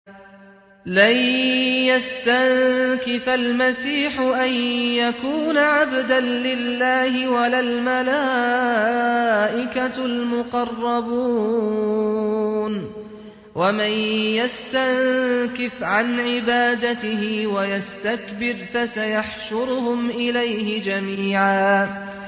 لَّن يَسْتَنكِفَ الْمَسِيحُ أَن يَكُونَ عَبْدًا لِّلَّهِ وَلَا الْمَلَائِكَةُ الْمُقَرَّبُونَ ۚ وَمَن يَسْتَنكِفْ عَنْ عِبَادَتِهِ وَيَسْتَكْبِرْ فَسَيَحْشُرُهُمْ إِلَيْهِ جَمِيعًا